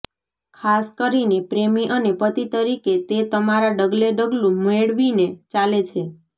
ખાસ કરીને પ્રેમી અને પતિ તરીકે તે તમારા ડગલે ડગલું મેળવીને ચાલે છે